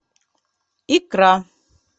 икра